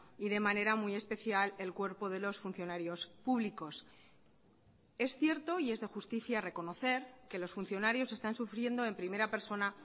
y de manera muy especial el cuerpo de los funcionarios públicos es cierto y es de justicia reconocer que los funcionarios están sufriendo en primera persona